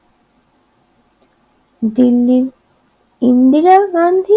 দিন দিন ইন্দিরা গান্ধী